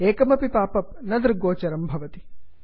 एकमपि pop up न दृग्गोचरं न भवति